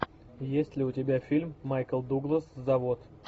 есть ли у тебя фильм майкл дуглас завод